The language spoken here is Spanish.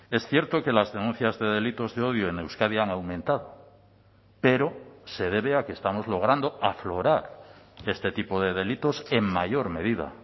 es cierto que las denuncias de delitos de odio en euskadi han aumentado pero se debe a que estamos logrando aflorar este tipo de delitos en mayor medida